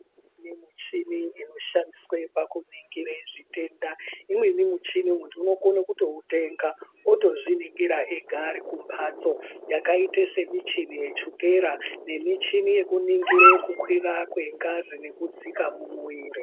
Kune muchini inoshandiswe pakuningire zvitenda imweni muchini munthu unokona kutoutenga otozviningira ari ega kumhatso yakaita semuchini yechukera nemuchini yekuningira kukwira kwengazi nekudzika mumuwiri.